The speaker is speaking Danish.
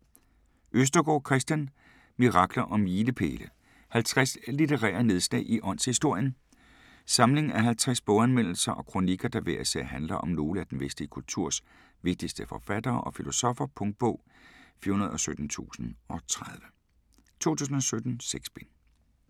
Østergaard, Kristian: Mirakler og milepæle: 50 litterære nedslag i åndshistorien Samling af 50 boganmeldelser og kronikker, der hver især handler om nogle af den vestlige kulturs vigtigste forfattere og filosoffer. Punktbog 417030 2017. 6 bind.